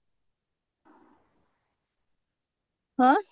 ଆଁ